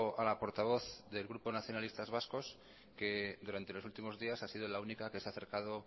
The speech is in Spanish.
a la portavoz del grupo nacionalistas vascos que durante los últimos días ha sido la única que se ha acercado